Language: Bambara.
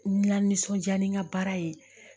N lanisɔndiya ni n ka baara ye